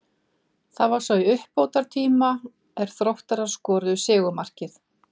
Það var svo í uppbótartíma er Þróttarar skoruðu sigurmarkið.